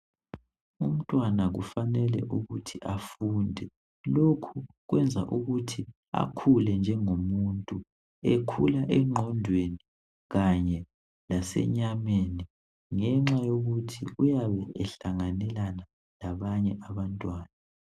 Umntwana kufanele ukuthi afunde lokhu kwenza ukuthi akhule njengomuntu ekhula engqondweni kanye lasenyameni ngenxa yokuthi uyabe ehlanganelana labanye abantwana.